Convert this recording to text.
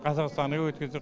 қазақстанға өткіздік